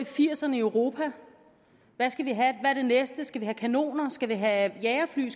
firserne i europa hvad er det næste skal vi have kanoner skal vi have jagerfly